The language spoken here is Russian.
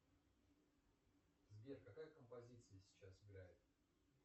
сбер какая композиция сейчас играет